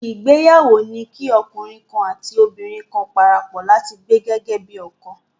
Ìgbéyàwó ni kí ọkùnrin kan àti obìnrin kan parapọ̀ láti gbé gẹ́gẹ́ bí ọ̀kan.